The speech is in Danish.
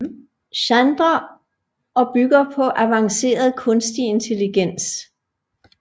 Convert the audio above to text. Chandra og bygger på avanceret kunstig intelligens